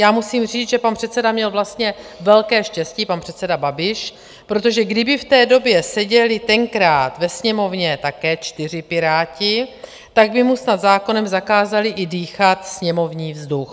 Já musím říct, že pan předseda měl vlastně velké štěstí, pan předseda Babiš, protože kdyby v té době seděli tenkrát ve Sněmovně také čtyři piráti, tak by mu snad zákonem zakázali i dýchat sněmovní vzduch.